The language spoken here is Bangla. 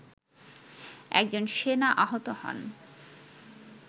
একজন সেনা আহত হন